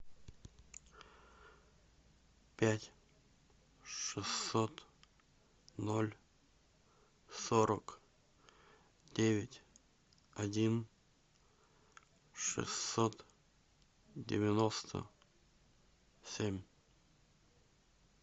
пять шестьсот ноль сорок девять один шестьсот девяносто семь